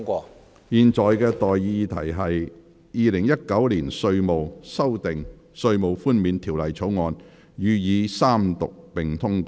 我現在向各位提出的待議議題是：《2019年稅務條例草案》予以三讀並通過。